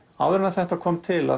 áður en þetta kom til